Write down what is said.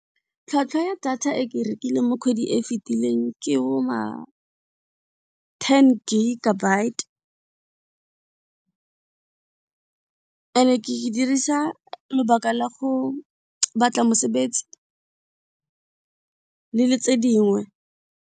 Tlhwatlhwa ya data e ke e rekileng mo kgwedi e fitileng ke bo ma ten bit-e and ke dirisa lebaka la go batla mosebetsi le le tse dingwe.